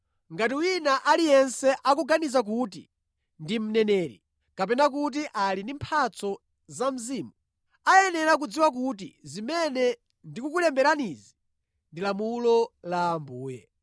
Ngati wina aliyense akuganiza kuti ndi mneneri kapena kuti ali ndi mphatso za Mzimu, ayenera kudziwa kuti zimene ndikukulemberanizi ndi lamulo la Ambuye.